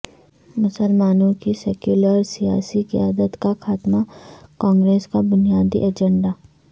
مسلمانوں کی سیکولر سیاسی قیادت کا خاتمہ کانگریس کا بنیادی ایجنڈا